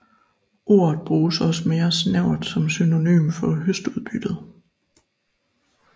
Ordet bruges også mere snævert som synonym for høstudbyttet